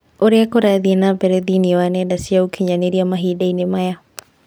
ũrĩa kũrathiĩ na mbere thĩinĩ wa nenda cia ũkĩnyaniria mahindainĩ maya